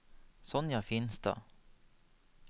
Sonja Finstad